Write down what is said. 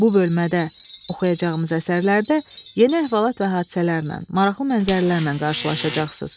Bu bölmədə oxuyacağımız əsərlərdə yeni əhvalat və hadisələrlə, maraqlı mənzərələrlə qarşılaşacaqsınız.